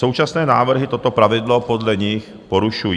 Současné návrhy toto pravidlo podle nich porušují.